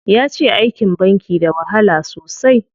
Yace aikin banki da wahala sosai.